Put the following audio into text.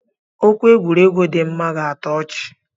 Okwu egwuregwu dima ga atọ ọchi.